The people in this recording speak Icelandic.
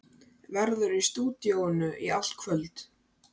Verður í stúdíóinu í allt kvöld.